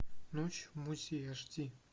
ночь в музее аш ди